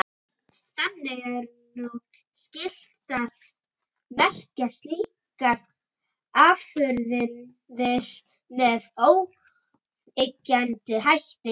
Þannig er nú skylt að merkja slíkar afurðir með óyggjandi hætti.